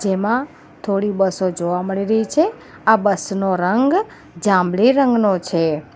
એમાં થોડી બસો જોવા મળી રહી છે આ બસ નો રંગ જાંબલી રંગનો છે.